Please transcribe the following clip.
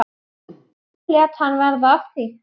Nú lét hann verða af því.